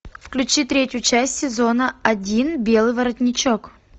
включи третью часть сезона один белый воротничок